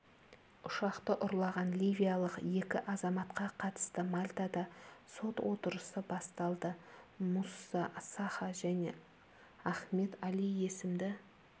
ұшақты ұрлаған ливиялық екі азаматқа қатысты мальтада сот отырысы басталды мусса саха және ахмед али есімді